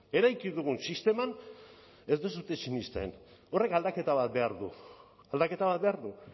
eraiki dugun sisteman ez duzue sinesten horrek aldaketa bat behar du aldaketa bat behar du